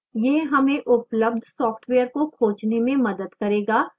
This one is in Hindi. यह हमें उपलब्ध software को खोजने में मदद करेगा